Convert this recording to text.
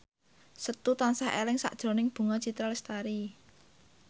Setu tansah eling sakjroning Bunga Citra Lestari